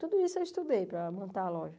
Tudo isso eu estudei para montar a loja.